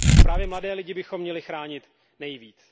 A právě mladé lidi bychom měli chránit nejvíc.